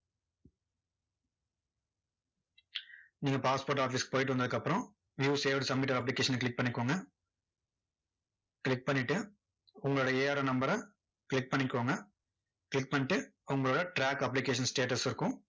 நீங்க passport office க்கு போயிட்டு வந்தத்துக்கு அப்பறம் view saved submitted application அ click பண்ணிக்கோங்க. click பண்ணிட்டு, உங்களோட ARN number அ click பண்ணிக்கோங்க click பண்ணிட்டு உங்களோட track application status இருக்கும்.